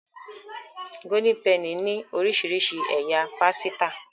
Golden Penny ní orísirísi ẹyà pàsìta.